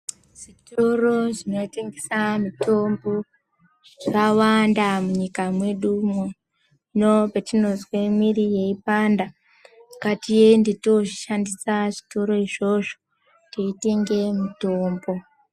Zvitoro zvinotengesa mitombo zvawanda munyika mwedumwo. Hino petinozwe mwiri yeipanda ,ngatiende toshandisa zvitoro izvozvo, teitenge mitombo.